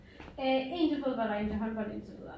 Øh en til fodbold og en til håndbold indtil videre